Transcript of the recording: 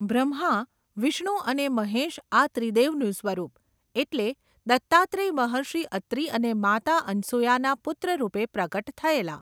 બ્રહ્મા, વિષ્ણુ અને મહેશ આ ત્રિદેવનું સ્વરૂપ, એટલે દત્તાત્રેય મહર્ષિ અત્રી અને માતા અનસૂયાના પુત્રરૂપે પ્રગટ થયેલા.